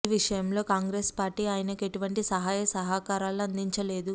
ఈ విషయంలో కాంగ్రెస్ పార్టీ ఆయనకు ఎటువంటి సహాయ సహకారాలు అందించలేదు